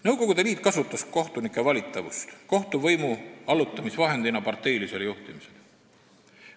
Nõukogude Liit kasutas kohtunike valitavust võimalusena allutada kohtuvõim parteilisele juhtimisele.